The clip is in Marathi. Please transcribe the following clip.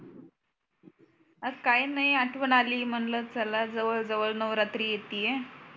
ह काय नाही आठवण आली म्हणल जवळ जवळ नवरात्रि येतीय आहे.